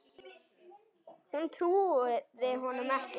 Hún trúði honum ekki.